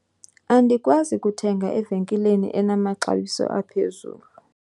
andikwazi kuthenga evenkileni enamaxabiso aphezulu